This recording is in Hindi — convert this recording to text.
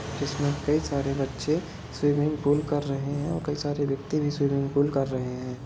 इसमे कई सारे बच्चे स्विमिंग पूल कर रहे है और कई सारे व्यक्ति भी स्विमिंग पूल कर रहे है।